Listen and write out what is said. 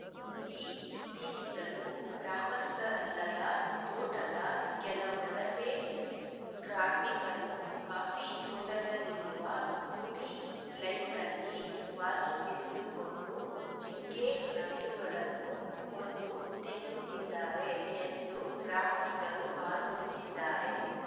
ಈ ಹಿಂದಿನಿಂದಲೂ ಗ್ರಾಮಸ್ಥರಲ್ಲದ ತೋಟದ ಕೆಲ ವಲಸೆ ಕಾರ್ಮಿಕರು ಕಾಫಿ ತೋಟದಲ್ಲಿರುವ ಕೂಲಿ ಲೈನ್‌ನಲ್ಲಿ ವಾಸವಿದ್ದುಕೊಂಡು ಜಿಂಕೆ ನವಿಲುಗಳನ್ನು ಕೊಂದು ತಿನ್ನುತ್ತಿದ್ದಾರೆ ಎಂದು ಗ್ರಾಮಸ್ಥರು ಆರೋಪಿಸಿದ್ದಾರೆ